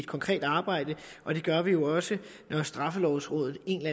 konkrete arbejde og det gør vi jo også når straffelovrådet en